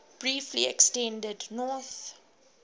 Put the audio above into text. briefly extended north